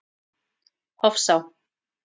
Hofsá